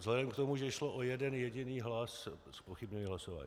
Vzhledem k tomu, že šlo o jeden jediný hlas, zpochybňuji hlasování.